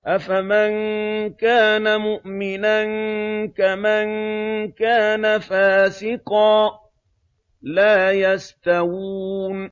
أَفَمَن كَانَ مُؤْمِنًا كَمَن كَانَ فَاسِقًا ۚ لَّا يَسْتَوُونَ